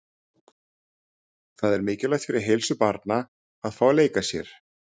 Það er mikilvægt fyrir heilsu barna að fá að leika sér.